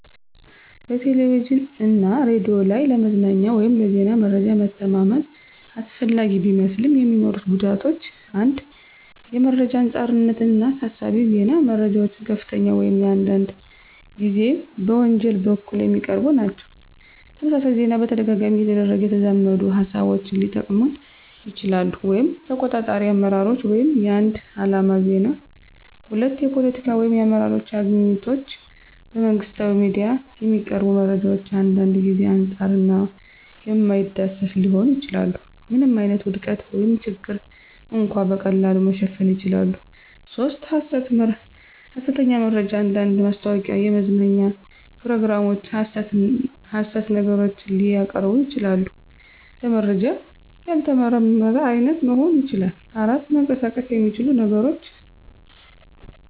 በቴሌቪዥን እና ሬዲዮ ላይ ለመዝናኛ ወይም ለዜና መረጃ መተማመን አስፈላጊ ቢመስልም፣ የሚኖሩት ጉዳቶች 1. የመረጃ አንጻርነት እና አሳሳቢ ዜና - መረጃዎች ከፍተኛ ወይም አንዳንድ ጊዜ በወንጀል በኩል የሚቀርቡ ናቸው። - ተመሳሳይ ዜና በተደጋጋሚ እየተደረገ የተዛመዱ ሃሳቦችን ሊጠቅመን ይችላሉ (ተቆጣጣሪ አመራሮች ወይም የአንድ ዓላማ ዜና)። 2. የፖለቲካ ወይም የአመራር አግኝቶች - በመንግሥታዊ ሚዲያ የሚቀርቡ መረጃዎች አንዳንድ ጊዜ አንጻር እና የማይዳሰስ ሊሆኑ ይችላሉ። ምንም ዓይነት ውድቀት ወይም ችግር እንኳ በቀላሉ መሸፈን ይችላል። 3. ሐሰተኛ መረጃ አንዳንድ ማስታወቂያ፣ የመዝናኛ ፕሮግራሞች ሐሰት ነገሮችን ሊያቀርቡ ይችላሉ። - ለመረጃ ያልተመረመረ አይነት መሆን ይችላል። 4. መንቀሳቀስ የሚችሉ ነገሮች